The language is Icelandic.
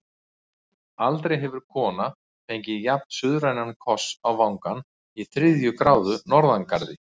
Aldrei hefur kona fengið jafn-suðrænan koss á vangann í þriðju gráðu norðangarði.